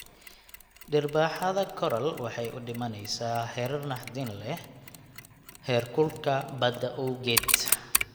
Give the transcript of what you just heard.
Dhirbaaxada Coral waxay u dhimanaysaa heerar naxdin leh heerkulka badda awgeed.